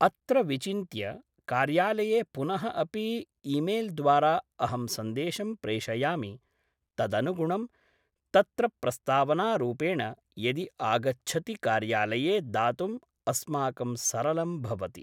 अत्र विचिन्त्य कार्यालये पुनः अपि इमेल्द्वारा अहं सन्देशं प्रेषयामि तदनुगुणं तत्र प्रस्तावनारूपेण यदि आगच्छति कार्यालये दातुम् अस्माकं सरलं भवति